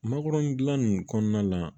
Makɔrɔni dilan nin kɔnɔna la